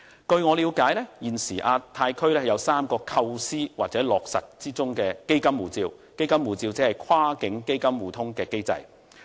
據我了解，現時亞太區有3個構思，當中的"基金護照"機制或會落實。